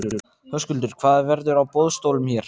Höskuldur: Hvað verður á boðstólum hér?